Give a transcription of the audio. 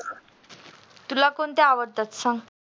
तुला कोणते आवडतात song